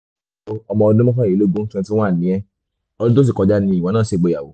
ọmọ ọdún mọ́kànlélógún twenty-one ni ẹ́ ọdún tó sì kọjá nìwọ náà ṣègbéyàwó